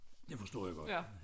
Det forstår jeg godt